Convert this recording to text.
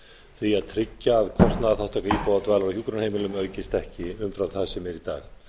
því að tryggja að kostnaðarþátttaka íbúa á dvalar og hjúkrunarheimilum aukist ekki umfram það sem er í dag